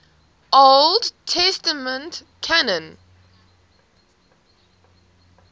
old testament canon